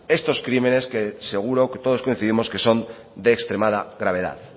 estos crímenes que seguro que todos coincidimos que son de extremada gravedad